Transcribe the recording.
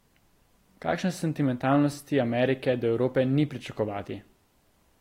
Kakšne sentimentalnosti Amerike do Evrope ni pričakovati.